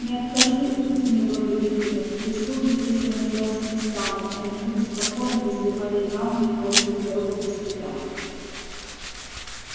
не откажи будь мне благодетелем в прислуге здесь я нуждаться не стану а не буду спокоен если марья ивановна поедет в дорогу без тебя